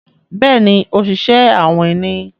Béèni Oṣiṣẹ awin ní.